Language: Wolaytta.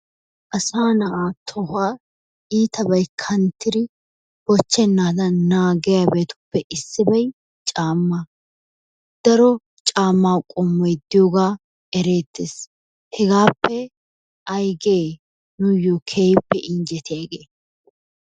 Asaa na'aa tohuwa iitabay kanttidi bochchennaadan naagiyabatuppe issibay caammaa. Daro caammaa qommoy diyogaa ereettes. Hegaappe ayigee nuyyoo keehippe injjetiyagee?